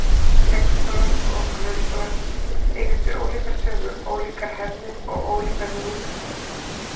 Leikskólar og grunnskólar eiga sér ólíka sögu, ólíkar hefðir og ólíka hugmyndafræði.